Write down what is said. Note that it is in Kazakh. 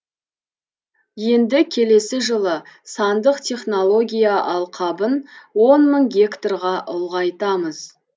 енді келесі жылы сандық технология алқабын он мың гектарға ұлғайтамыз